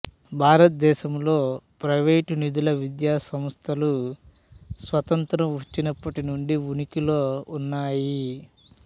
భారతదేశంలో ప్రైవేటు నిధుల విద్యాసంస్థలు స్వాతంత్ర్యం వచ్చినప్పటి నుండి ఉనికిలో ఉన్నాయి